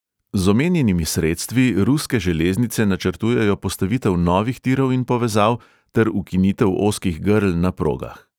Z omenjenimi sredstvi ruske železnice načrtujejo postavitev novih tirov in povezav ter ukinitev ozkih grl na progah.